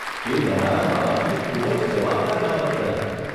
એ તમારા માબાપની ખૂબ જવાબદાર બાબત ગણાય.